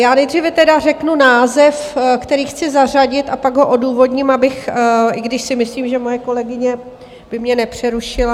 Já nejdříve tedy řeknu název, který chci zařadit, a pak ho odůvodním, abych - i když si myslím, že moje kolegyně by mě nepřerušila.